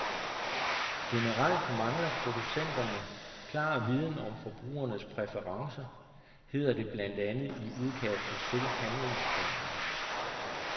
Generelt mangler producenterne klar viden om forbrugernes præferencer, hedder det blandt andet i udkastet til handlingsplanen.